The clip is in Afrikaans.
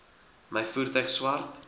my voertuig swart